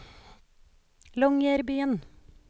Longyearbyen